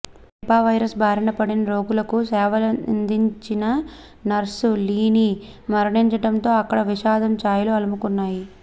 Nipah virus బారిన పడిన రోగులకు సేవలందించిన నర్సు లీని మరణించడంతో అక్కడ విషాదం ఛాయలు అలముకున్నాయి